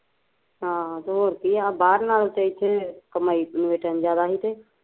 ਹ ਤੇ ਹੋਰ ਕੀ ਬਾਹਰ ਨਾਲੋਂ ਤੇ ਇੱਥੇ ਕਮਾਈ ਇਨਵੇਟਰਾਂ ਦੀ ਜਿਆਦਾ ਸੀ ਤੇ